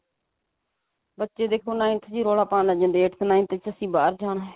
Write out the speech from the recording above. ਬੱਚੇ ਦੇਖੋ ninth ਵਿਚ ਹੀ ਰੋਲਾ ਪਾਉਣ ਲੱਗ ਜਾਂਦੇ ਆ eighth ninth ਵਿਚ ਅਸੀਂ ਬਾਹਰ ਜਾਣਾ